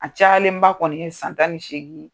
A cayalen ba kɔni ye san tan ni seegin